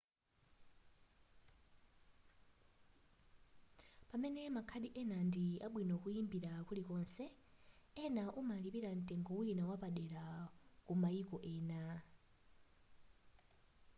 pamene makhadi ena ndi abwino kuimbira kulikonse ena umalipira mtengo wina wapadera ku maiko ena